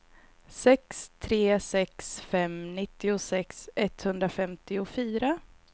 sex tre sex fem nittiosex etthundrafemtiofyra